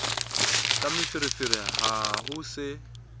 ka meferefere ha ho se